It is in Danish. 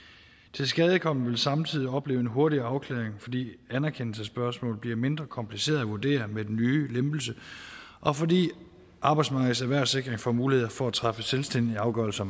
tilskadekomne vil samtidig opleve en hurtigere afklaring fordi anerkendelsespørgsmål bliver mindre komplicerede at vurdere med den nye lempelse og fordi arbejdsmarkedets erhvervssikring får mulighed for at træffe selvstændige afgørelser